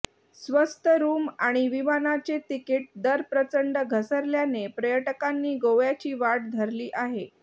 स्वस्त रूम आणि विमानांचे तिकीट दर प्रचंड घसरल्याने पर्यटकांनी गोव्याची वाट धरली आहे